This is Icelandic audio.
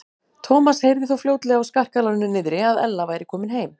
Thomas heyrði þó fljótlega á skarkalanum niðri að Ella væri komin heim.